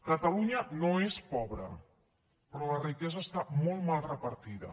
catalunya no és pobra però la riquesa està molt mal repartida